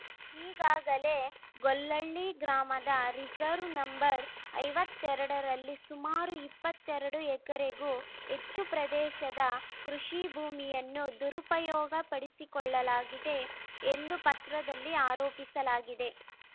ಈಗಾಗಲೇ ಗೊಲ್ಲಹಳ್ಳಿ ಗ್ರಾಮದ reserve number ಐವತ್ತ್ ಎರಡ ರಲ್ಲಿ ಸುಮಾರು ಇಪ್ಪತ್ತ್ ಎರಡು ಎಕರೆಗೂ ಹೆಚ್ಚು ಪ್ರದೇಶದ ಕೃಷಿ ಭೂಮಿಯನ್ನು ದುರುಪಯೋಗ ಪಡಿಸಿಕೊಳ್ಳಲಾಗಿದೆ ಎಂದು ಪತ್ರದಲ್ಲಿ ಆರೋಪಿಸಲಾಗಿದೆ